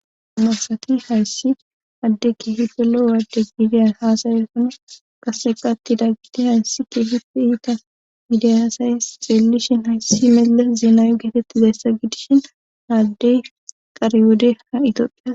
masati hayssi hadde ki hidolo waade giidiya haasaye sona qase qattida gide hayssi keehifi iita giidiy asaye xeellishin hayssi meles zinaawi geetetti deyssa gidishin haaddey qare wode ha itoophias